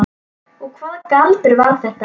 Og hvaða galdur var það?